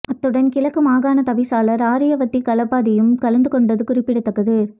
அத்துடன் கிழக்கு மாகாண தவிசாளர் ஆரியவத்தி கலப்பதியும் கலந்து கொண்டதும் குறிப்பிடத்தக்கது